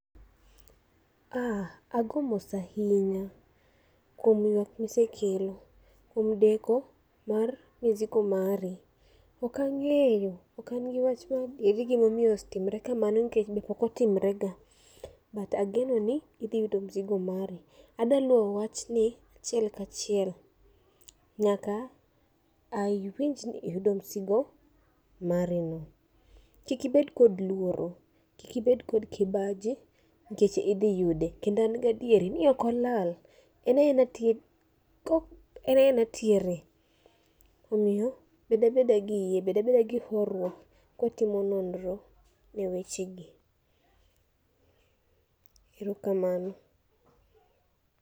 ah, ago mos ahinya kuom wuoth misekelo, kuom deko mar misigo mari. Okang'eyo, okan wach mar gimomiyo otimre kamano nikech be pokotimre ga. But ageno ni idhi yudo mzigo mari, adaluwo wach ni achiel kachiel nyaka awinj ni iyudo msigo mari no. Kikibed kod luoro, kikibed kod kibaji nikech idhi yude. Kendo an gadieri ni okolal, en enatie, kok enaenatiere. Omiyo bedabeda gi bedabeda gi horuok kwatimo nonro e weche gi, erokamano.